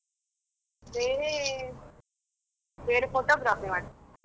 ಬೇರೆ, ಬೇರೆ photography ಮಾಡ್ತೆ.